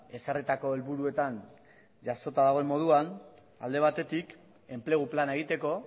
ezarritako helburuetan jasota dagoen moduan alde batetik enplegu plana egiteko